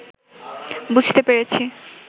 বুঝতে পেরেছি